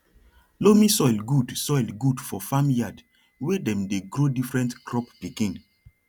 loamy soil good soil good for farm yard wey dem dey grow different crop pikin